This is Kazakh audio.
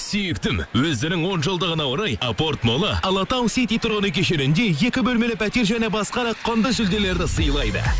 сүйіктім өздерінің он жылдығына орай апорт молы алатау сити тұрғын үй кешенінде екі бөлмелі пәтер және басқа да құнды жүлделерді сыйлайды